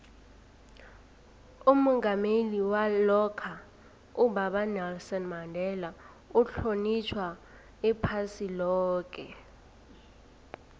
umongameli walokha ubaba unelson mandela uhlonitjhwa iphasi loke